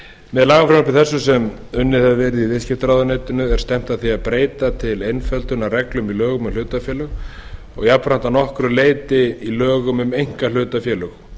með lagafrumvarpi þessu sem samið hefur verið í viðskiptaráðuneytinu er stefnt að því að breyta til einföldunar reglum í lögum um hlutafélög og jafnframt að nokkru leyti í lögum um einkahlutafélög